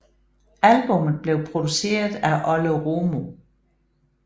Albummet blev produceret af Olle Romo